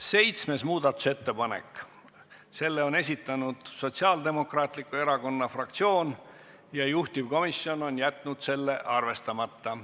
Seitsmes muudatusettepanek, selle on esitanud Sotsiaaldemokraatliku Erakonna fraktsioon ja juhtivkomisjon on jätnud selle arvestamata.